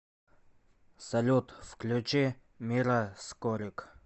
салют включи мира скорик